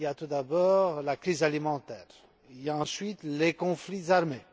Il y a tout d'abord la crise alimentaire, il y a ensuite les conflits armés.